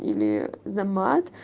или за мат